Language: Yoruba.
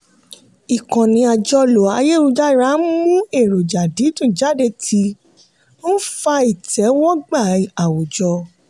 ìkànnì àjọlò ayélujára ń mú èròjà dídùn jáde tí ń fa ìtẹ́wọ́gbà àwùjọ.